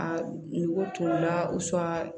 A nugu t'o la